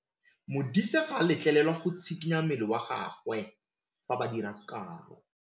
Modise ga a letlelelwa go tshikinya mmele wa gagwe fa ba dira karô.